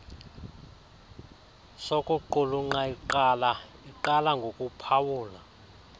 sokuqulunqa iqala ngokuphawula